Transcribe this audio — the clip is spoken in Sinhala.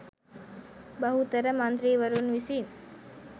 බහුතර මන්ත්‍රීවරුන් විසින්